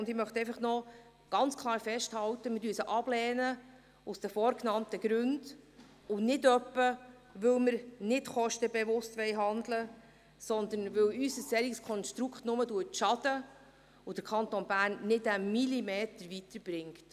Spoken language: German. Ich möchte noch ganz klar festhalten, dass wir sie aus den vorgenannten Gründen ablehnen und nicht, weil wir nicht kostenbewusst handeln wollen, sondern weil uns ein solches Konstrukt nur schaden würde und den Kanton Bern nicht einen Millimeter weiterbrächte.